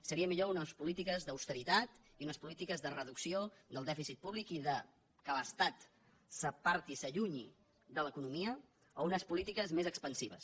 seria millor unes polítiques d’austeritat i unes polítiques de reducció del dèficit públic i que l’estat s’aparti s’allunyi de l’economia o unes polítiques més expansives